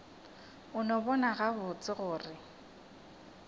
a no bona gabotse gore